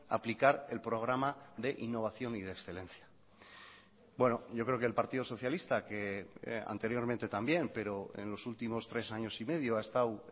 aplicar el programa de innovación y de excelencia bueno yo creo que el partido socialista que anteriormente también pero en los últimos tres años y medio ha estado